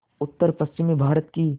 उत्तरपश्चिमी भारत की